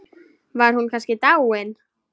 Var hún kannski dáin?